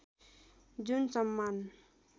जुन सम्मान